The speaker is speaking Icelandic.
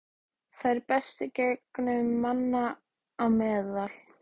Þær bestu gengu manna á meðal.